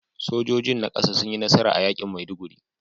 Sojojin na kasa sun yi nasara a yakin Maiduguri